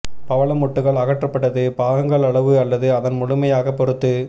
பவளமொட்டுக்கள் அகற்றப்பட்டது பாகங்கள் அளவு அல்லது அதன் முழுமையாக பொறுத்து